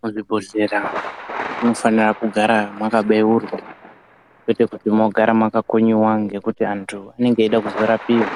Muzvibhodhleya munofana kugara makabeurwa kwete kuti mogara makakonyeva ngekuti vantu vanenge veida kuzorapiva.